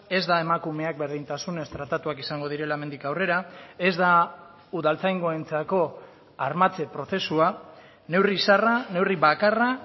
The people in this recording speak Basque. ez da emakumeak berdintasunez tratatuak izango direla hemendik aurrera ez da udaltzaingoentzako armatze prozesua neurri zarra neurri bakarra